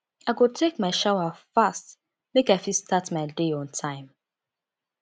i go take my shower fast make i fit start my day on time